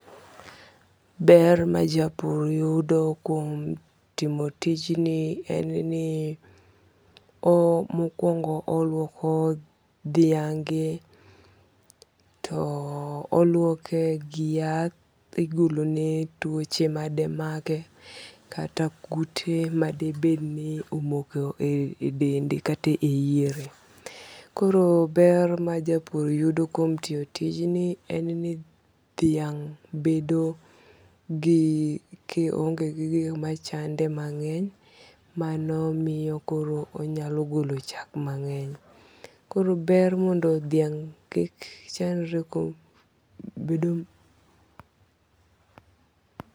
Ber ma japur yudo kuom timo tijni en ni o mokwongo oluoko dhiange .To oluoke gi yath dhi golone tuoche ma demake kata kute ma debed ni omoko e dende kata e yiere . Koro ber ma japur yudo kuom tiyo tijni en ni dhiang' bedo gi ka oonge gi yoo machande mang'eny mano miyo koro onyalo golo chak mang'eny .Koro ber mondo dhiang' kik